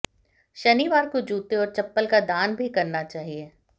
शनिवार को जूते और चप्पल का दान भी करना चाहिए